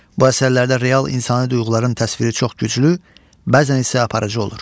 Bu əsərlərdə real insani duyğuların təsviri çox güclü, bəzən isə aparıcı olur.